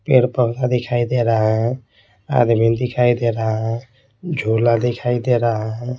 पेड़-पौधा दिखाई दे रहा है आदमी दिखाई दे रहा है झोला दिखाई दे रहा है।